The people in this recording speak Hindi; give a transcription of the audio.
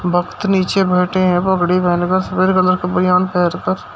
भक्त नीचे बैठे हैं पगड़ी पहन कर सफेद कलर का बनियान पहनकर।